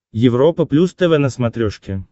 европа плюс тв на смотрешке